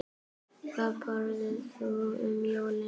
Hvað borðar þú um jólin?